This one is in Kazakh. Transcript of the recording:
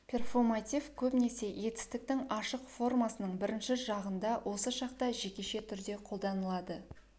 перфоматив көбінесе етістіктің ашық формасының бірінші жағында осы шақта жекеше түрде қолданылады